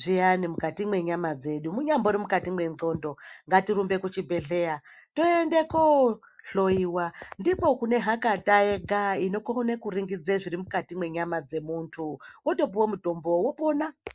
zviyani mukati mwenyama dzedu munyambori mukati mwendxondo ngatirumbe kuchibhedhleya toende kohloiwa ndiko kune hakata yega inokone kuringidze zviri mukati mwenyama dzemuntu wotopuwe mutombo wopona.